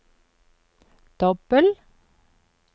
dobbel